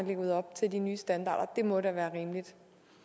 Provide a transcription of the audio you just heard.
leve op til de nye standarder det må da være rimeligt